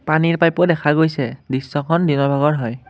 পানীৰ পাইপো দেখা গৈছে দৃশ্যখন দিনৰ ভাগৰ হয়।